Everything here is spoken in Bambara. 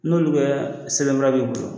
N'olu bɛ sɛbɛnfura b'i bolo